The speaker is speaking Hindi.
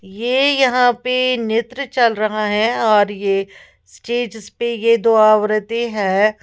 ये यहां पे नित्र चल रहा है और ये स्टेजेस पे ये दो औरतें है।